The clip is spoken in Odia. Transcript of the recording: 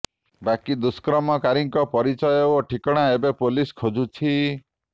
ବାକି ଦୁଷ୍କର୍ମକାରୀଙ୍କ ପରିଚୟ ଓ ଠିକଣା ଏବେ ପୋଲିସ୍ ଖୋଜୁଛି